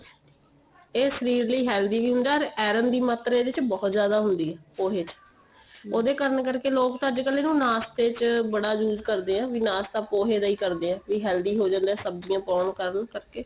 ਇਹ ਸਵੇਰ ਲਈ healthy ਵੀ ਹੁੰਦਾ iron ਦੀ ਮਾਤਰਾ ਇਹਦੇ ਚ ਬਹੁਤ ਜਿਆਦਾ ਹੁੰਦੀ ਏ ਪੋਹੇ ਚ ਉਹ ਦੇ ਕੰਨ ਕਰਕੇ ਲੋਕ ਤਾਂ ਅੱਜਕਲ ਇਹਨੂੰ ਨਾਸ਼ਤੇ ਚ ਬੜਾ use ਕਰਦੇ ਏ ਬੀ ਨਾਸ਼ਤਾ ਪੋਹੇ ਦਾ ਹੀ ਕਰਦੇ ਏ ਬੀ healthy ਹੋ ਜਾਂਦਾ ਸਬਜੀਆਂ ਪਾਉਣ ਕਾਰਨ ਕਰਕੇ